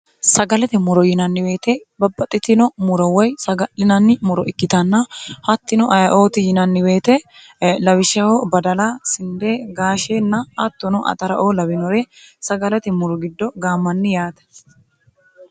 sagalate muro yinannibeete babbaxitino muro woy saga'linanni muro ikkitanna hattino ayiooti yinannibeete lawishshaho badala sindee gaasheenna attono axaraoo lawinore sagalate muro giddo gaammanni yaate